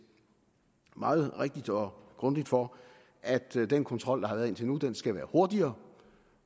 meget rigtigt og grundigt for at den kontrol der har været indtil nu skal være hurtigere